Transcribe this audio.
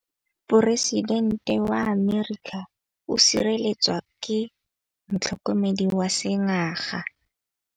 Poresitêntê wa Amerika o sireletswa ke motlhokomedi wa sengaga.